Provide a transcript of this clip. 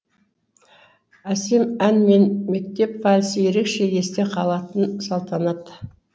әсем ән мен мектеп вальсі ерекше есте қалатын салтанат